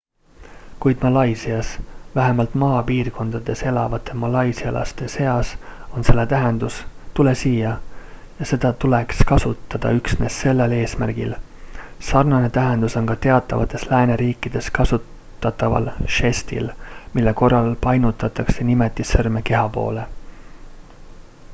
"kuid malaisias vähemalt maapiirkondades elavate malaisialaste seas on selle tähendus "tule siia" ja seda tuleks kasutada üksnes sellel eesmärgil; sarnane tähendus on ka teatavates lääneriikides kasutataval žestil mille korral painutatakse nimetissõrme keha poole.